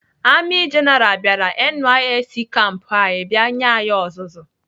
Amị jenaral bịara NYSC kampu anyị bịa nye anyị ọzụzụ.